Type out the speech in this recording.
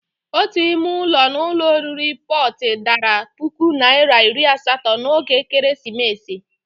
Ótù ime ụlọ n'ụlọ oriri Protii dara puku naira iri asatọ n'oge Ekeresimesi.